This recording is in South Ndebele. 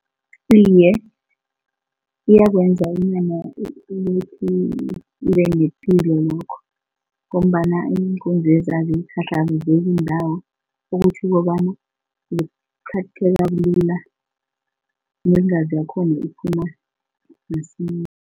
Iye, kuyakwenza inyama ukuthi ibe nepilo lokho ngombana iinkomezi azikhahlamezeki ndawo ukuthi kobana zikhatheka lula neengazi zakhona ziphuma masinya.